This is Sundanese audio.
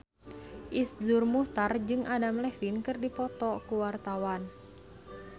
Iszur Muchtar jeung Adam Levine keur dipoto ku wartawan